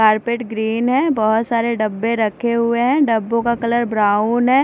Carpet green है बहोत सारे डब्बे रखे हुए हैं डब्बों का कलर ब्राउन है।